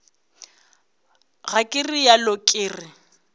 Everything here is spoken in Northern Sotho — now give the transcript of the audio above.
ga ke realo ke re